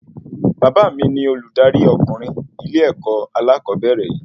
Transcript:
Bàbá mí ní oludari ọkunrin ilé-èkó alakobere yìí